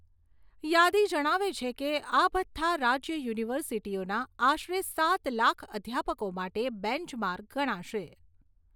યાદી જણાવે છે કે, આ ભથ્થા રાજ્ય યુનિવર્સિટીઓના આશરે સાત લાખ અધ્યાપકો માટે બેંચ માર્ક ગણાશે.